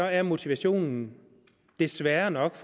er motivationen desværre nok